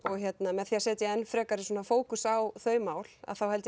með því að setja enn frekar fókus á þau mál þá held